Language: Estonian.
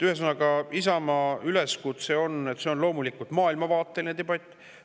Ühesõnaga, see on loomulikult maailmavaateline debatt.